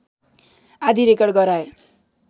आदि रेकर्ड गराए